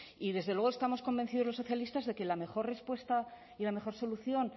y desde luego estamos convencidos los socialistas de que la mejor respuesta y la mejor solución